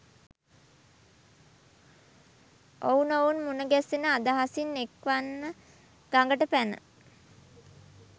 ඔවුනොවුන් මුණගැසෙන අදහසින් එක්වන්ව ගඟට පැන